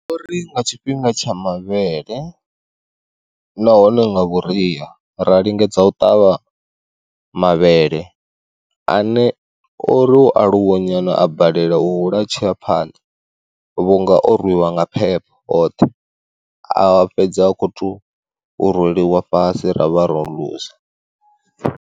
Uri nga tshifhinga tsha mavhele nahone nga vhuria ra lingedza u ṱavha mavhele ane ori u aluwa nyana a balelwa u hula tshiya phanḓa vhu nga o rwiwa nga phepho oṱhe, a fhedza a kho to roliwa fhasi ra vha ro luza.